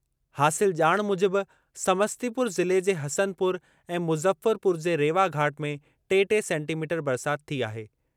हासिल ॼाण मूजिबि समस्तीपुर ज़िले जे हसनपुर ऐं मुज़फ़रपुर जे रेवाघाट में टे टे सेंटीमीटर बरसाति थी आहे।